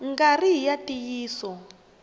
nga ri hi ya ntiyiso